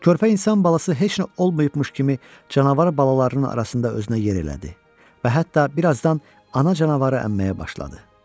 Körpə insan balası heç nə olmayıbmış kimi canavar balalarının arasında özünə yer elədi və hətta birazdan ana canavarı əmməyə başladı.